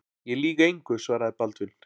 Ég lýg engu, svaraði Baldvin.